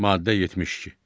Maddə 72.